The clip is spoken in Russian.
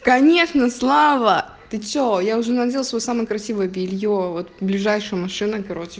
конечно слава ты что я уже надел свой самый красивый белье вот ближайшая машина короче